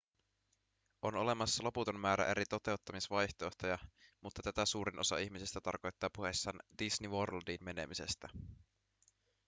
on olemassa loputon määrä eri toteuttamisvaihtoehtoja mutta tätä suurin osa ihmisistä tarkoittaa puhuessaan disney worldiin menemisestä